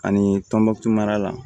Ani tɔnbɔkutu mara la